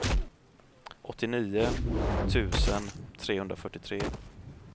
åttionio tusen trehundrafyrtiotre